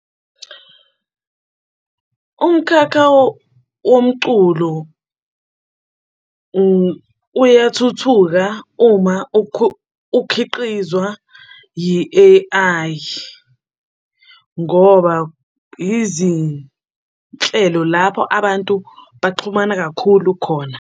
Umkhakha womculo uyathuthuka uma ukhiqizwa yi-A_I, ngoba yizinhlelo lapho abantu baxhumana kakhulu khona.